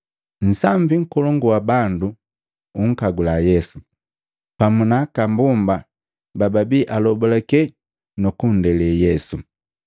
Nsambi nkolongu wa bandu unkagula Yesu, pamu na aka mbomba bababia alobalake nu kundele Yesu.